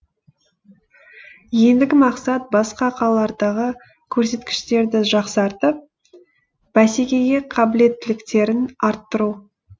ендігі мақсат басқа қалалардағы көрсеткіштерді жақсартып бәсекеге қабілеттіліктерін арттыру